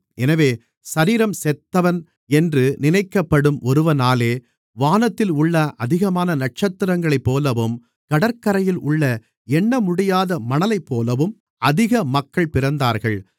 எனவே சரீரம் செத்தவன் என்று நினைக்கப்படும் ஒருவனாலே வானத்தில் உள்ள அதிகமான நட்சத்திரங்களைப்போலவும் கடற்கரையில் உள்ள எண்ணமுடியாத மணலைப்போலவும் அதிக மக்கள் பிறந்தார்கள்